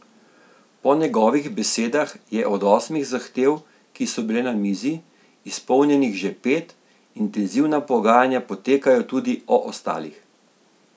Po njegovih besedah je od osmih zahtev, ki so bile na mizi, izpolnjenih že pet, intenzivna pogajanja potekajo tudi o ostalih.